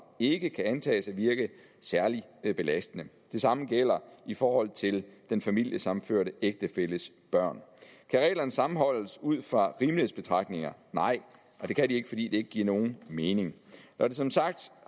ikke kan antages at virke særlig belastende det samme gælder i forhold til den familiesammenførte ægtefælles børn kan reglerne sammenholdes ud fra rimelighedsbetragtninger nej og det kan de ikke fordi det ikke giver nogen mening som sagt